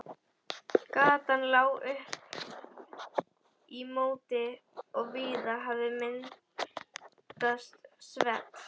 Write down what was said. Gatan lá upp í móti og víða hafði myndast svell.